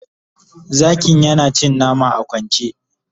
zakin yana cin nama a kwance